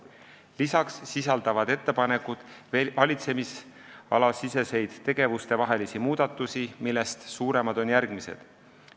Peale selle sisaldavad ettepanekud valitsemisala sees tegevuste vahelisi muudatusi, millest suuremad on järgmised.